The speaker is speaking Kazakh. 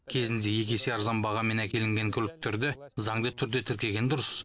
кезінде екі есе арзан бағамен әкелінген көліктерді заңды түрде тіркеген дұрыс